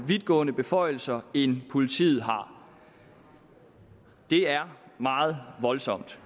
vidtgående beføjelser end politiet har det er meget voldsomt